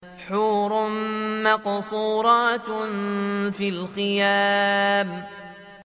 حُورٌ مَّقْصُورَاتٌ فِي الْخِيَامِ